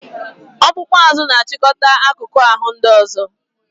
Spinal cord controls other parts of the body